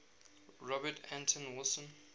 robert anton wilson